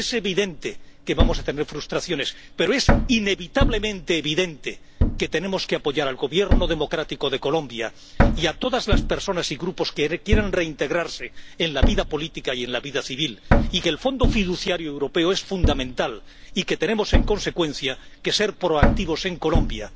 Es evidente que vamos a tener frustraciones, pero es inevitablemente evidente que tenemos que apoyar al Gobierno democrático de Colombia y a todas las personas y grupos que quieren reintegrarse en la vida política y en la vida civil, y que el Fondo fiduciario europeo es fundamental y que tenemos en consecuencia que ser proactivos en Colombia.